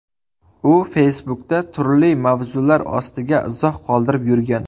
U Facebook’da turli mavzular ostiga izoh qoldirib yurgan.